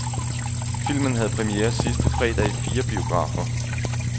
Filmen havde premiere sidste fredag i fire biografer.